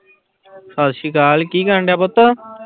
ਸਤਿ ਸ੍ਰੀ ਅਕਾਲ ਕੀ ਕਰਨਡਿਆ ਪੁੱਤ?